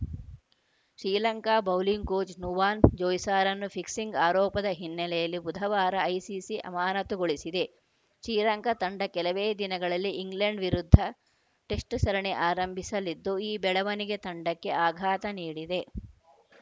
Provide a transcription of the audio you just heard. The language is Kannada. Sri Lanka bowling coach Nuvan ಜೋಯ್ಸಾರನ್ನು fixing ಆರೋಪದ ಹಿನ್ನೆಲೆಯಲ್ಲಿ ಬುಧವಾರ ಐಸಿಸಿ ಅಮಾನತುಗೊಳಿಸಿದೆ ಶ್ರೀಲಂಕಾ ತಂಡ ಕೆಲವೇ ದಿನಗಳಲ್ಲಿ ಇಂಗ್ಲೆಂಡ್‌ ವಿರುದ್ಧ ಟೆಸ್ಟ್‌ ಸರಣಿ ಆರಂಭಿಸಲಿದ್ದು ಈ ಬೆಳವಣಿಗೆ ತಂಡಕ್ಕೆ ಆಘಾತ ನೀಡಿದೆ